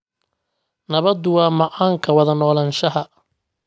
Nabaddu waa macaanka wada noolaanshaha